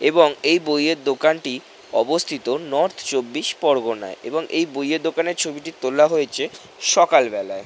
এবং এই বইয়ের দোকানটি অবস্থিত নর্থ চব্বিশ পরগনায় এবং এই বইয়ের দোকানের ছবিটি তোলা হয়েছে সকালবেলায়।